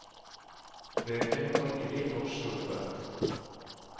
Bøkene må ikke bli for store.